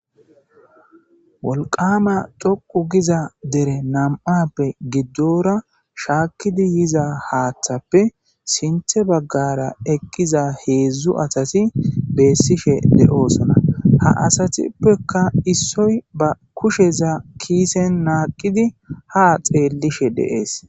Woliqama dhoqu giza dere na'ape gidora shakizi yiza hathape sinthe bagara eqiza hezu asati betishe de'osona ha asatupeka issoy ba kusheza kisen naqidi ha xelishe des